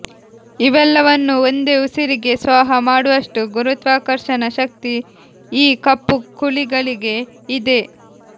ಇವೆಲ್ಲವನ್ನೂ ಒಂದೇ ಉಸಿರಿಗೆ ಸ್ವಾಹ ಮಾಡುವಷ್ಟು ಗುರುತ್ವಾಕರ್ಷಣ ಶಕ್ತಿ ಈ ಕಪ್ಪುಕುಳಿಗಳಿಗೆ ಇದೆ